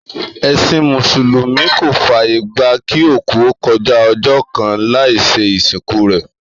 Èsìn Mùsùlùmí kò fàyè gbà kí òkú ó kojá ojó kan láì se ìsìnkú rè